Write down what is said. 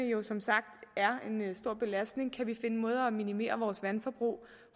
jo som sagt en stor belastning så kan vi finde måder at minimere vores vandforbrug